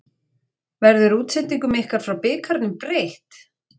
Verður útsendingum ykkar frá bikarnum breytt?